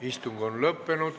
Istung on lõppenud.